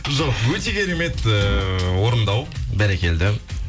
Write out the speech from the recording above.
жоқ өте керемет ііі орындау бәрекелді